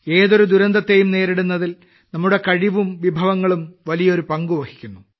ഏതൊരു ദുരന്തത്തെയും നേരിടുന്നതിൽ നമ്മുടെ കഴിവും വിഭവങ്ങളും വലിയ ഒരു പങ്ക് വഹിക്കുന്നു